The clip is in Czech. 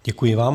Děkuji vám.